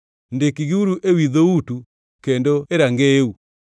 Ndikgiuru ewi dhoutu kendo e rangeyeu.